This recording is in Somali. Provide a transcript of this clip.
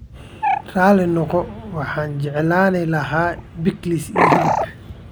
Raali noqo, waxaan jeclaan lahaa pickles iyo hilib.